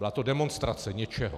Byla to demonstrace něčeho.